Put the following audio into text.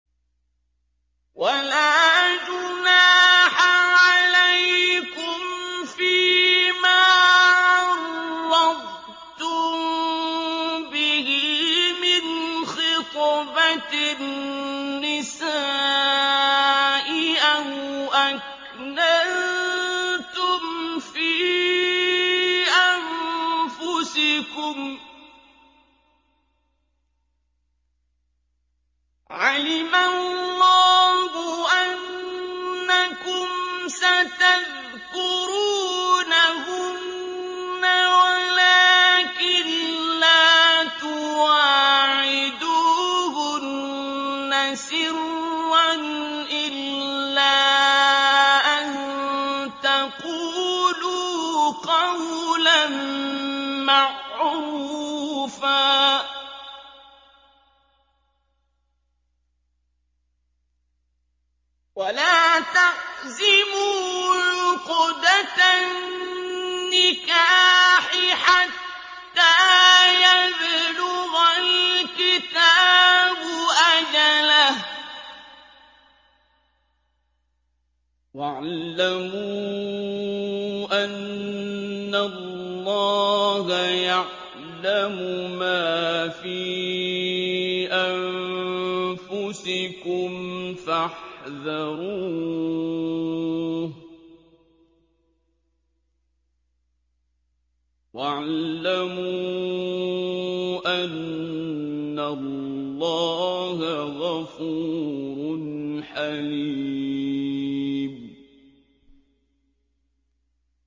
وَلَا جُنَاحَ عَلَيْكُمْ فِيمَا عَرَّضْتُم بِهِ مِنْ خِطْبَةِ النِّسَاءِ أَوْ أَكْنَنتُمْ فِي أَنفُسِكُمْ ۚ عَلِمَ اللَّهُ أَنَّكُمْ سَتَذْكُرُونَهُنَّ وَلَٰكِن لَّا تُوَاعِدُوهُنَّ سِرًّا إِلَّا أَن تَقُولُوا قَوْلًا مَّعْرُوفًا ۚ وَلَا تَعْزِمُوا عُقْدَةَ النِّكَاحِ حَتَّىٰ يَبْلُغَ الْكِتَابُ أَجَلَهُ ۚ وَاعْلَمُوا أَنَّ اللَّهَ يَعْلَمُ مَا فِي أَنفُسِكُمْ فَاحْذَرُوهُ ۚ وَاعْلَمُوا أَنَّ اللَّهَ غَفُورٌ حَلِيمٌ